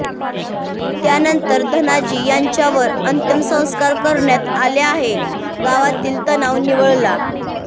त्यानंतर धनाजी यांच्यावर अंत्यसंस्कार करण्यात आले आणि गावातील तणाव निवळला